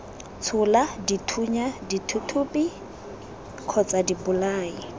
tshola dithunya dithuthupi kgotsa dibolai